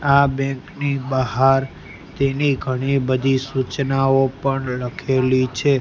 આ બેંક ની બહાર તેની ઘણી બધી સૂચનાઓ પણ લખેલી છે.